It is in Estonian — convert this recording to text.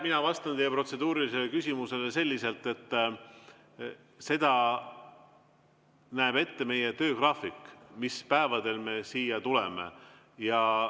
Mina vastan teie protseduurilisele küsimusele selliselt, et selle, mis päevadel me siia tuleme, näeb ette meie töögraafik.